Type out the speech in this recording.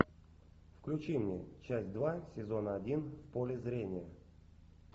включи мне часть два сезон один в поле зрения